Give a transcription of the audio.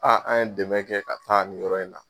Aa an ye dɛmɛ kɛ ka taa ni yɔrɔ in na.